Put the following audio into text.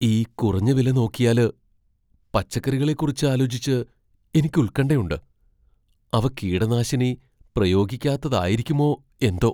ഈ കുറഞ്ഞ വില നോക്കിയാല്, പച്ചക്കറികളെക്കുറിച്ച് ആലോചിച്ച് എനിക്ക് ഉൽക്കണ്ഠയുണ്ട്, അവ കീടനാശിനി പ്രയോഗിക്കാത്തതായിരിക്കുമോ എന്തോ.